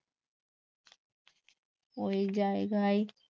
ওই জায়গায়